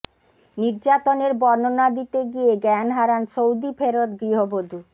নির্যাতনের বর্ণনা দিতে গিয়ে জ্ঞান হারান সৌদি ফেরত গৃহবধূ